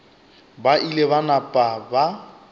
ba ile ba napa ba